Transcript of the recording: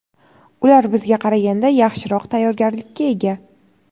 Ular bizga qaraganda yaxshiroq tayyorgarlikka ega.